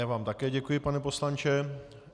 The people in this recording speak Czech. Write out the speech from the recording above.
Já vám také děkuji, pane poslanče.